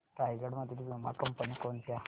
रायगड मधील वीमा कंपन्या कोणत्या